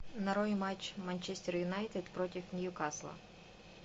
нарой матч манчестер юнайтед против ньюкасла